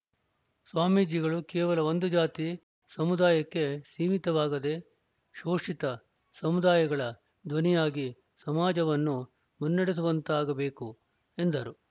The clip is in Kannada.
ಸ್ವಾಮೀಜಿಗಳು ಕೇವಲ ಒಂದು ಜಾತಿ ಸಮುದಾಯಕ್ಕೆ ಸೀಮಿತವಾಗದೆ ಶೋಷಿತ ಸಮುದಾಯಗಳ ಧ್ವನಿಯಾಗಿ ಸಮಾಜವನ್ನು ಮನ್ನೆಡೆಸುವಂತಾಗಬೇಕು ಎಂದರು